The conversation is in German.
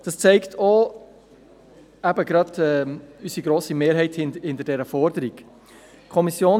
Dies zeigt auch die grosse Mehrheit, die diese Forderung unterstützt.